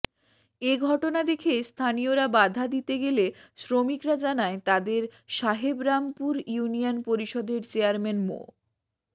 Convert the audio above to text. এ ঘটনা দেখে স্থানীয়রা বাধা দিতে গেলে শ্রমিকরা জানায় তাদের সাহেবরামপুর ইউনিয়ন পরিষদের চেয়ারম্যান মো